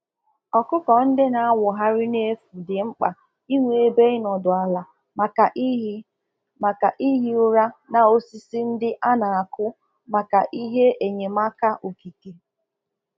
Ụmụ ọkụkọ a na-azụ na ezi chọrọ osisi ebe ha ga-ebegoro mgbe ha na ehi ụra n'akwa mgbe ha na akọ ọkọ maka ezi ụtọ ndụ